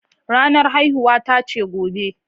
Ranar haihuwata ce gobe.